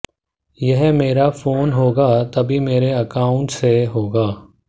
यह मेरा फोन होगा तभी मेरे अकाउंट्स से होगा